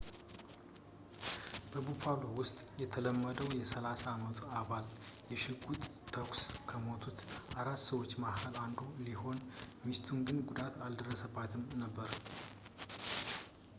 በbuffalo ውስጥ የተወለደው የ30 አመቱ ባል፣ በሽጉጥ ተኩስ ከሞቱት አራት ሰዎች መሐል አንዱ ሲሆን፣ ሚስቱ ግን ጉዳት አልደረሰባትም ነበር